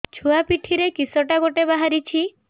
ଛୁଆ ପିଠିରେ କିଶଟା ଗୋଟେ ବାହାରିଛି